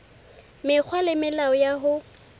mekgwa le melao ya ho